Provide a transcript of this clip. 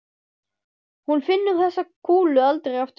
Hún finnur þessa kúlu aldrei aftur.